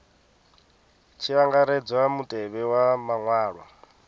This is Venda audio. tshi angaredzwa mutevhe wa maṅwalwa